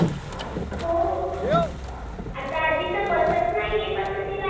हो आता आजी तर बसत नाही आहे पण म तिला आ?